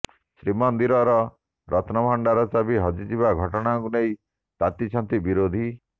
ଶ୍ରୀମନ୍ଦିର ରତ୍ନଭଣ୍ଡାର ଚାବି ହଜିବା ଘଟଣାକୁ ନେଇ ତାତିଛନ୍ତି ବିରୋଧୀ